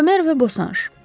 Bomer və Bosanj.